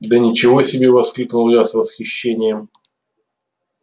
да ничего себе воскликнул я с восхищением